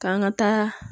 K'an ka taa